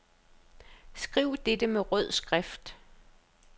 Skriv dette med rød skrift.